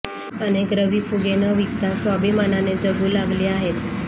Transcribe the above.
अनेक रवी फुगे न विकता स्वाभिमानाने जगु लागली आहेत